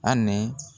A ni